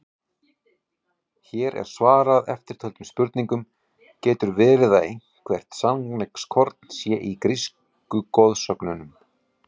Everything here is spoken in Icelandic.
Hér er svarað eftirtöldum spurningum: Getur verið að eitthvert sannleikskorn sé í grísku goðsögunum?